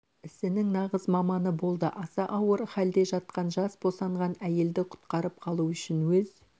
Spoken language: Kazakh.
ісінің нағыз маманы болды аса ауыр халде жатқан жас босанған әйелді құтқарып қалу үшін өз